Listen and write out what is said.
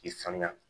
K'i sanuya